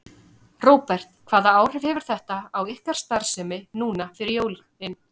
Róbert: Hvaða áhrif hefur þetta á ykkar starfsemi núna fyrir jólin?